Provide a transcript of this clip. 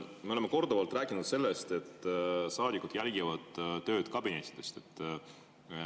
Me oleme korduvalt rääkinud sellest, et saadikud jälgivad tööd kabinettidest.